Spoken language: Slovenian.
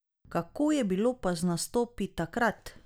Kako je bilo pa z nastopi takrat?